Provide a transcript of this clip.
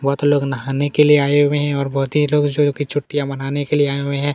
बहुत लोग नहाने के लिए आए हुए हैं और बहुत ही लोग जो है की छुट्टियां मनाने के लिए आये हुए हैं।